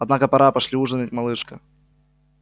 однако пора пошли ужинать малышка